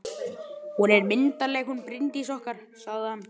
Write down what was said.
Hún er myndarleg, hún Bryndís okkar, sagði hann.